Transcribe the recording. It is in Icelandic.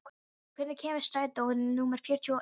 Óskar, hvenær kemur strætó númer fjörutíu og eitt?